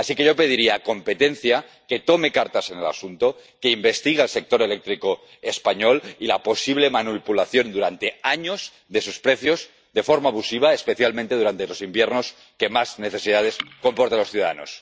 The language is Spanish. Así que yo pediría al departamento de Competencia que tome cartas en el asunto, que investigue al sector eléctrico español y la posible manipulación durante años de sus precios de forma abusiva, especialmente durante los inviernos, cuando más necesidades soportan los ciudadanos.